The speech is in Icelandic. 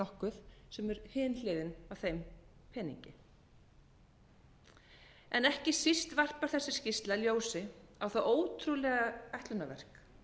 nokkuð sem er hin hliðin á þeim peningi en ekki síst varpar þessi skýrsla ljósi á það ótrúlega ætlunarverk